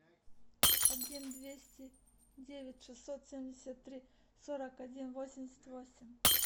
один двести девять шестьсот семьдесят три сорок один восемьдесят восемь